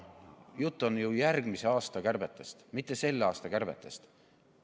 Jutt on ju järgmise aasta kärbetest, mitte selle aasta kärbetest.